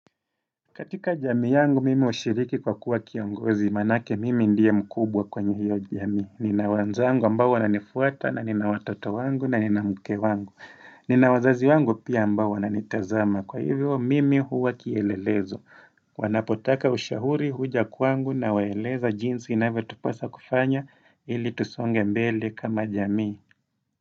Katika jamii yangu mimi ushiriki kwa kuwa kiongozi manake mimi ndiye mkubwa kwenye hiyo jami Nina wenzangu ambao wananifuata na nina watoto wangu na nina mke wangu Nina wazazi wangu pia ambao wananitazama kwa hivyo mimi huwa kielelezo Wanapotaka ushauri huja kwangu nawaeleza jinsi inavyo tupasa kufanya ili tusonge mbele kama jami.